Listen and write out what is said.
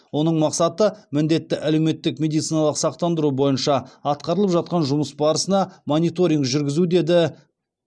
оның мақсаты міндетті әлеуметтік медициналық сақтандыру бойынша атқарылып жатқан жұмыс барысына мониторинг жүргізу деді